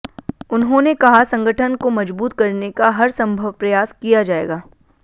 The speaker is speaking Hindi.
उन्होंने कहा संगठन को मजबूत करने का हर सम्भव प्रयास किया जायेगा